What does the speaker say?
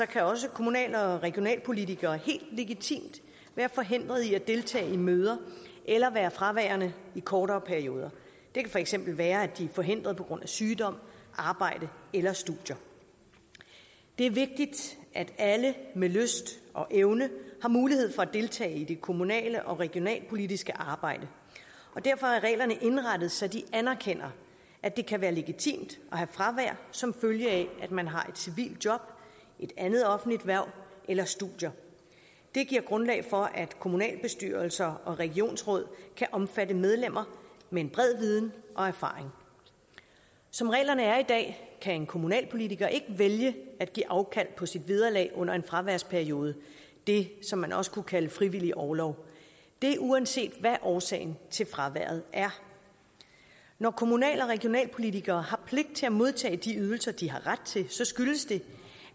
kan også kommunal og regionalpolitikere helt legitimt være forhindret i at deltage i møder eller være fraværende i kortere perioder det kan for eksempel være at de er forhindret på grund af sygdom arbejde eller studier det er vigtigt at alle med lyst og evne har mulighed for at deltage i det kommunale og regionalpolitiske arbejde derfor er reglerne indrettet så de anerkender at det kan være legitimt at have fravær som følge af at man har et civilt job et andet offentligt hverv eller studier det giver grundlag for at kommunalbestyrelser og regionsråd kan omfatte medlemmer med en bred viden og erfaring som reglerne er i dag kan en kommunalpolitiker ikke vælge at give afkald på sit vederlag under en fraværsperiode det som man også kunne kalde frivillig orlov det er uanset hvad årsagen til fraværet er når kommunal og regionalpolitikere har pligt til at modtage de ydelser de har ret til så skyldes det